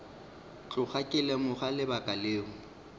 tloga ke lemoga lebaka leo